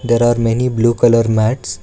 there are many blue colour mats.